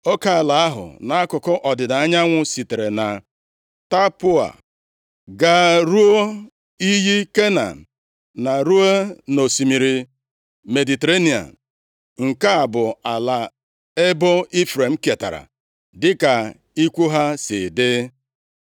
Oke ala ahụ nʼakụkụ ọdịda anyanwụ sitere na Tapụọa gaa ruo iyi Kana, na ruo nʼosimiri Mediterenịa. Nke a bụ ala ebo Ifrem ketara, dịka ikwu ha si dị.